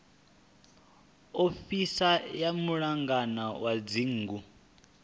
ofisi ya mulangi wa dzingu